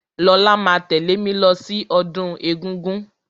Lọlá máa tẹ̀lẹ́ mí lọ sí ọdún egúngún.